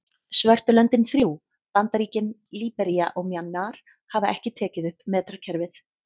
Svörtu löndin þrjú, Bandaríkin, Líbería og Mjanmar hafa ekki tekið upp metrakerfið.